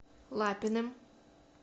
лапиным